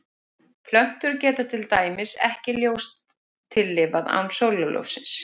Plöntur geta til dæmis ekki ljóstillífað án sólarljóssins.